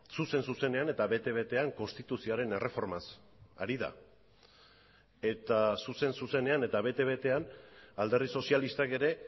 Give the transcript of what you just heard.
zuzen zuzenean eta bete betean konstituzioaren erreformaz ari da eta zuzen zuzenean eta bete betean alderdi sozialistak ere